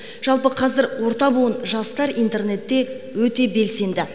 жалпы қазір орта буын жастар интернетте өте белсенді